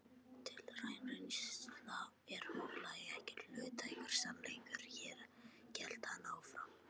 Dulræn reynsla er huglæg, ekki hlutlægur sannleikur hélt hann áfram.